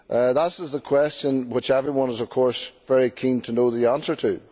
That is the question which everyone is, of course, very keen to know the answer to.